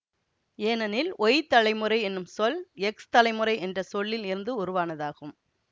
ஏனெனில் ஒய் தலைமுறை என்னும் சொல் எக்ஸ் தலைமுறை என்ற சொல்லில் இருந்து உருவானதாகும்